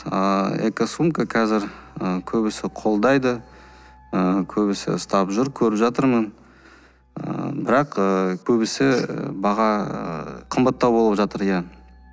ааа экосумка қазір ыыы көбісі қолдайды ы көбісі ұстап жүр көріп жатырмын ы бірақ көбісі баға қымбаттау болып жатыр иә